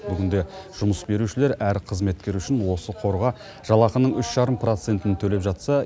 бүгінде жұмыс берушілер әр қызметкер үшін осы қорға жалақының үш жарым процентін төлеп жатса